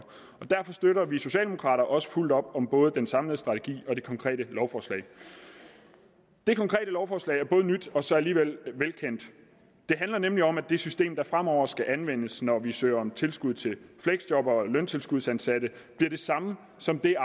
derfor støtter vi socialdemokrater også fuldt op om både den samlede strategi og det konkrete lovforslag det konkrete lovforslag er både nyt og så alligevel velkendt det handler nemlig om at det system der fremover skal anvendes når vi søger om tilskud til fleksjobbere og løntilskudsansatte bliver det samme som det